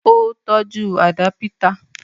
Ó tọ́jú àdápítà